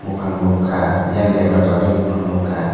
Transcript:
bopang nogka eyang debra tola digi bopang nogka.